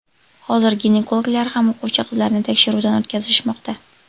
Hozir ginekologlar ham o‘quvchi qizlarni tekshiruvdan o‘tkazishmoqda.